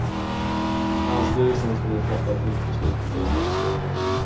Länsstyrelsen skall nu fatta ett nytt beslut i tillståndsfrågan.